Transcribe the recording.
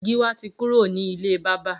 Giwa ti kúró ni ilé bàbà